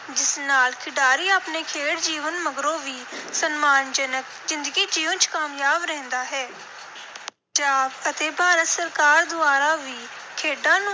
ਜਿਸ ਨਾਲ ਖਿਡਾਰੀ ਆਪਣੇ ਖੇਡ ਜੀਵਨ ਮਗਰੋਂ ਵੀ ਸਨਮਾਨਜਨਕ ਜ਼ਿੰਦਗੀ ਜਿਊਂਣ ਚ ਕਾਮਯਾਬ ਰਹਿੰਦਾ ਹੈ। ਪੰਜਾਬ ਅਤੇ ਭਾਰਤ ਸਰਕਾਰ ਦੁਆਰਾ ਵੀ ਖੇਡਾਂ ਨੂੰ